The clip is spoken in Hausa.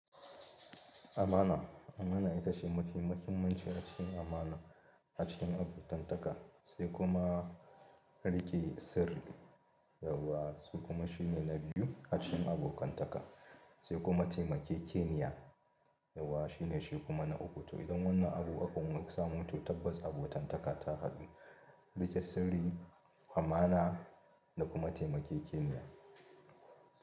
Amana, amana ita ce mafi muhimmanci a cikin amana a cikin abotantaka sai kuma riƙe sirri, yauwa su kuma shine na biyu a cikin abokantaka sai kuma taimakekeniya yauwa shine shi kuma na uku toh. Idan wannan abu ukun an samu, toh tabbas abotantaka ta hadu riƙe sirri, amana da kuma taimakekeniya.